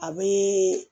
A be